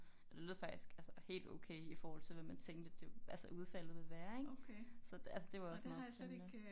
Og lød faktisk altså helt okay i forhold til hvad man tænkte det altså udfaldet ville være ik så altså det var også meget spændende